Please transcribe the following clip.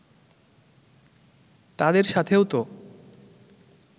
তাদের সাথেও তো